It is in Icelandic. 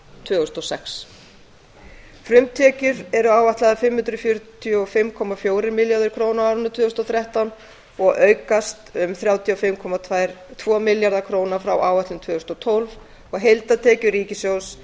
tvö þúsund og sex frumtekjur eru áætlaðar fimm hundruð fjörutíu og fimm komma fjórir milljarðar króna á árinu tvö þúsund og þrettán og aukast um þrjátíu og fimm komma tvo milljarða króna frá áætlun tvö þúsund og tólf heildartekjur ríkissjóðs